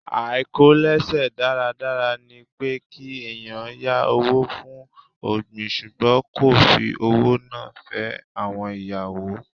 Àìkò lẹ̀ṣe dáradára ni pé kí ẹ̀yàn yá owó fún ọ̀gbìn ṣùgbọ́n kó fi owó náà fẹ́ àwọn ìyàwó.